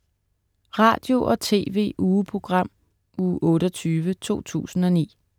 Radio- og TV-ugeprogram Uge 28, 2009